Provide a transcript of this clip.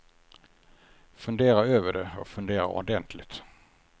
Fundera över det och fundera ordentligt.